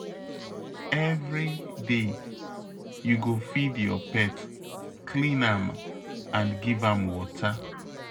Every day, you go feed your pet, clean am and give am water.